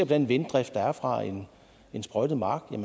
den vinddrift der er fra en sprøjtet mark